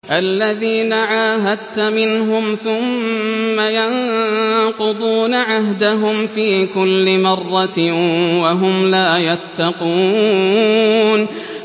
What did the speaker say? الَّذِينَ عَاهَدتَّ مِنْهُمْ ثُمَّ يَنقُضُونَ عَهْدَهُمْ فِي كُلِّ مَرَّةٍ وَهُمْ لَا يَتَّقُونَ